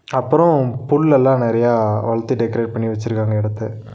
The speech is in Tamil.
அப்பறோ புள் லெல்லா நறியா வள்த்து டெக்கரேட் பண்ணி வெச்சிருக்காங்க எடத்த.